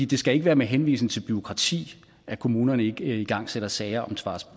det skal ikke være med henvisning til bureaukrati at kommunerne ikke igangsætter sager om